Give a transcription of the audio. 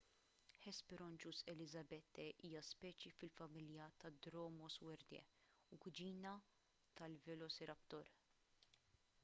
hesperonychus elizabethae hija speċi fil-familja ta' dromaeosauridae u kuġina tal-velociraptor